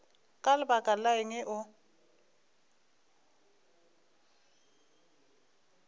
ka lebaka la eng o